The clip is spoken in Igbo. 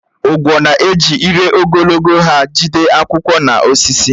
Ugwo na-eji ire ogologo ha jide akwụkwọ n’osisi.